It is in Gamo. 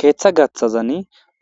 keeththa gaththazan